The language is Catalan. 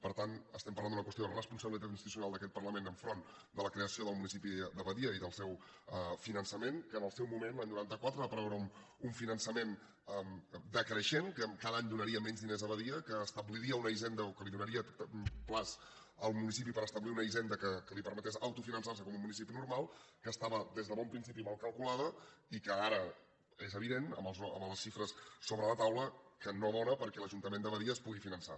per tant estem parlant d’una qüestió de responsabilitat institucional d’aquest parlament davant de la creació del municipi de badia i del seu finançament que en el seu moment l’any noranta quatre hi va preveure un finançament decreixent que cada any donaria menys diners a badia que establiria una hisenda o que donaria termini al municipi per establir una hisenda que li permetés autofinançar se com un municipi normal que estava des de bon principi mal calculada i que ara és evident amb les xifres sobre la taula que no dóna perquè l’ajuntament de badia es pugui finançar